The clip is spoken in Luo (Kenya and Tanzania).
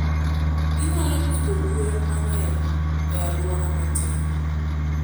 Ginyalo pidho gwen mang'eny e alwora matin.